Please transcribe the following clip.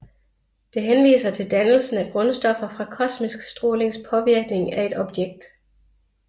Det henviser til dannelsen af grundstoffer fra kosmisk strålings påvirkning af et objekt